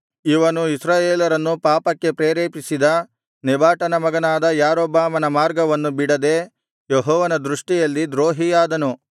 ಇವನು ಇಸ್ರಾಯೇಲರನ್ನು ಪಾಪಕ್ಕೆ ಪ್ರೇರೇಪಿಸಿದ ನೆಬಾಟನ ಮಗನಾದ ಯಾರೊಬ್ಬಾಮನ ಮಾರ್ಗವನ್ನು ಬಿಡದೆ ಯೆಹೋವನ ದೃಷ್ಟಿಯಲ್ಲಿ ದ್ರೋಹಿಯಾದನು